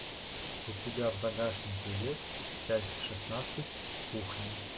у тебя в загашнике есть часть шестнадцать кухня